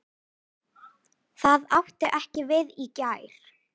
Það átti ekki við í gær.